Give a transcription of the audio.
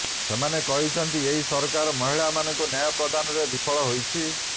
ସେମାନେ କହିଛନ୍ତି ଏହି ସରକାର ମହିଳାମାନଙ୍କୁ ନ୍ୟାୟ ପ୍ରଦାନରେ ବିଫଳ ହୋଇଛି